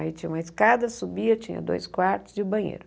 Aí tinha uma escada, subia, tinha dois quartos e o banheiro.